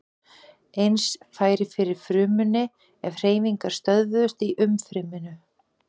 Eins færi fyrir frumunni ef hreyfingar stöðvuðust í umfryminu.